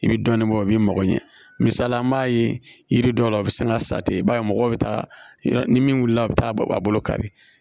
I bi dɔɔnin bɔ o b'i mago ɲɛ misali an b'a ye yiri dɔw la a be se ka sa ten i b'a ye mɔgɔw be taa ni min wulila a bi taa a bolo kari